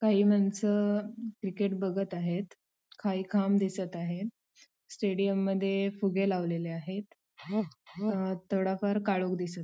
काही मानस क्रिकेट बघत आहेत काही खांब दिसत आहे स्टेडिउम मध्ये फुगे लावलेले आहेत अ थोडा फार काळोख दिसत--